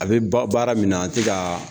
A bɛ b'a baara min na an tɛ ka